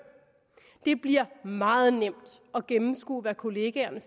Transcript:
det bliver meget nemt at gennemskue hvad kollegaerne